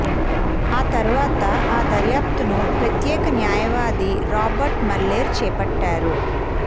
ఆ తర్వాత ఆ దర్యాప్తును ప్రత్యేక న్యాయవాది రాబర్ట్ ముల్లెర్ చేపట్టారు